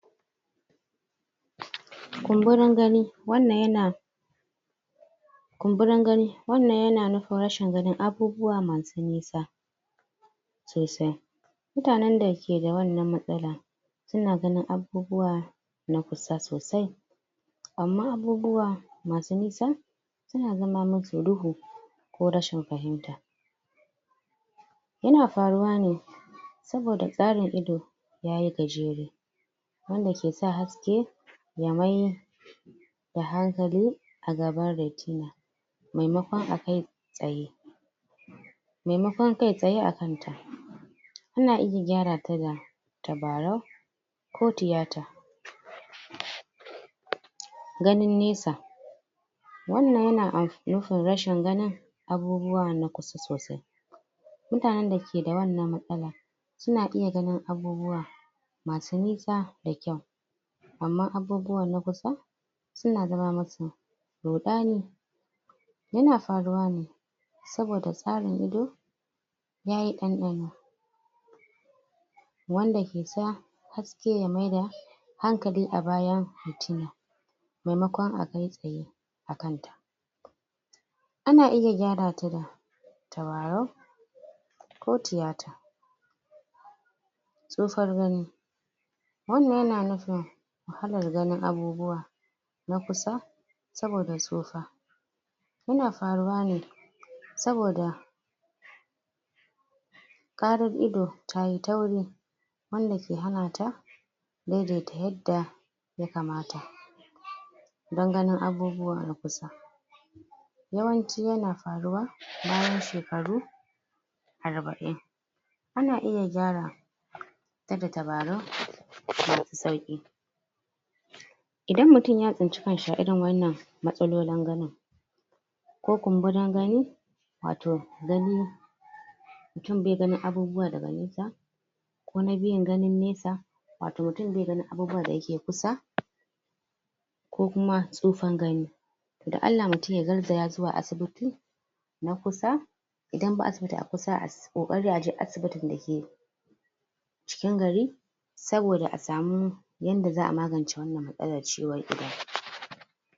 kumburin gani wannan ya na kumburin gani wannan yana nufin rashin ganin abubuwa masu nisa sosai mutanen da ke da wannan matsalan suna ganin abubuwa na kusa sosai amma abubuwa ma su nisa suna zama musu duhu ko rashin fahimta yana faruwa ne saboda tsarin ido ya yi gajere wanda ke sa haske yamai da hankali a gaban retina maimakon a kai tsaye maimakon kai tsaye a kan ta in na iya gyara ta da tabarau ko tiyata ganin nesa wannan yana amf nufin rashin ganin abubuwa na kusa sosai mutanen da ke da wannan matsala suna iya ganin abubuwa masu nisa da kyau amma abubuwa na kusa suna zama musu ruɗani ya na faruwa ne saboda tsarin ido? wanda ke sa haske ya maida hankali a bayan? maimakon a kai tsaye a kanta ana iya gyara ta da tabarau ko tiyata tsufar gani wannan yana nufin wahalar ganin abubuwa na kusa saboda tsufa ya na faruwa ne saboda ƙarar ido tayi tauri wanda ke hana ta dai dai ta yadda ya kamata dan ganin abubuwa na kusa yawanci ya na faruwa bayan shekaru arba'in ana iya gyara ta da tabarau masu sauƙi idan mutum ya tsinci kanshi a irin wannan matsalolin ganin ko kumburin gani wato gani mutum bai ganin abubuwa daga nesa ko na biyun ganin nesa wato mutum bai ganin abubuwan da yake kusa ko kuma tsufan gani dan Allah mutum ya garzaya zuwa asibiti na kusa idan ba asibiti a kusa ass ƙoƙari aje asibitin da ke cikin gari saboda a samu yanda za'a magance wannan matsalar ciwon idon